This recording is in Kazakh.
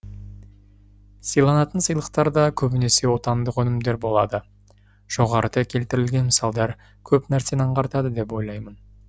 сыйланатын сыйлықтар да көбінесе отандық өнімдер болады жоғарыда келтірілген мысалдар көп нәрсені аңғартады деп ойлаймын